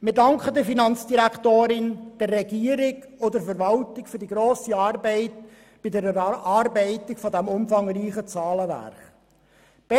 Wir danken der Finanzdirektorin, der Regierung und der Verwaltung für die grosse Arbeit bei der Erarbeitung dieses umfangreichen Zahlenwerks.